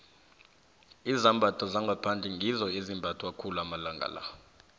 izambatho zangaphandle ngizo ezimbathwa khulu amalanga la